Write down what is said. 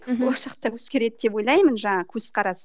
мхм болашақта өзгереді деп ойлаймын жаңағы көзқарас